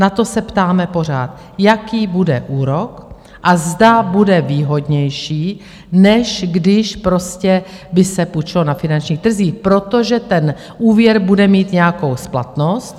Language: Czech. Na to se ptáme pořád, jaký bude úrok a zda bude výhodnější, než když prostě by se půjčilo na finančních trzích, protože ten úvěr bude mít nějakou splatnost.